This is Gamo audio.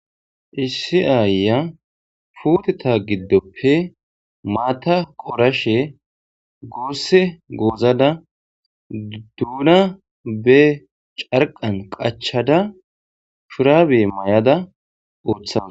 Issi aayya futeta giddoppe maata qorashe goosse goozada duuna be carqan qachada shurabe may'ada uuthama